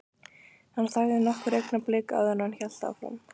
Hann þagði nokkur augnablik áður en hann hélt áfram.